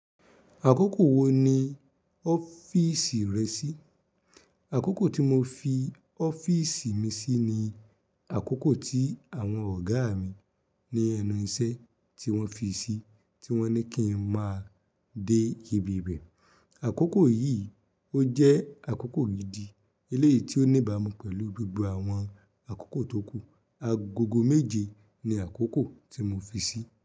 Àkókò wo ni ọ́fìsì rẹ sí? Àkókò tí mo fi ọ́fìsì mi sí ni àkókò tí àwọn ọ̀gá mi ní ẹnu iṣẹ́ tí wọ́n fi sí, tí wọ́n ní kí n má a dé ibi ibẹ̀. Àkókò yìí ó jẹ́ àkókò gidi eléyìí tí ó níbà mú pẹ̀lú gbogbo àwọn àkókò tókù. Agogo méje ni àkókò tí mo fi sí.